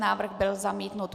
Návrh byl zamítnut.